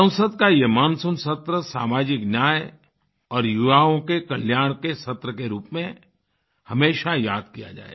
संसद का ये मानसून सत्र सामाजिक न्याय और युवाओं के कल्याण के सत्र के रूप में हमेशा याद किया जाएगा